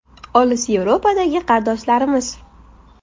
Olis Yevropadagi qardoshlarimiz.